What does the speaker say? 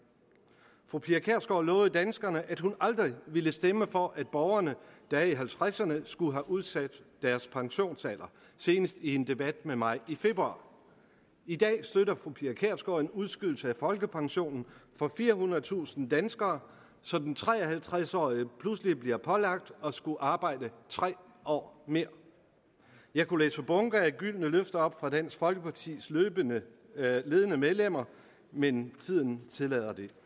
fru pia kjærsgaard lovede danskerne at hun aldrig ville stemme for at borgere der er i halvtredserne skulle have udsat deres pensionsalder senest i en debat med mig i februar i dag støtter fru pia kjærsgaard en udskydelse af folkepensionen for firehundredetusind danskere så den tre og halvtreds årige pludselig bliver pålagt at skulle arbejde tre år mere jeg kunne læse bunker af gyldne løfter op fra dansk folkepartis ledende ledende medlemmer men tiden tillader det